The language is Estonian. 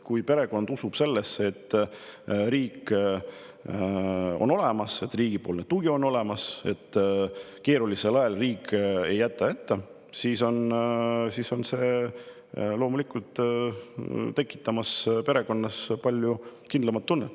Kui perekond usub sellesse, et riik on olemas, riigipoolne tugi on olemas, et riik ei jäta neid keerulisel ajal hätta, siis tekitab see loomulikult palju kindlama tunde.